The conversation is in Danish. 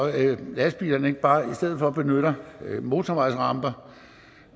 lastbilerne ikke bare i stedet for benytter motorvejsramper